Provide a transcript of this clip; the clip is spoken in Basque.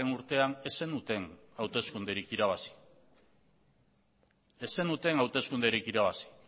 urtean ez zenuten hauteskunderik irabazi ez zenuten hauteskunderik irabazi